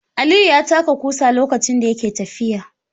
Aliyu ya taka ƙusa lokacin da yake tafiya.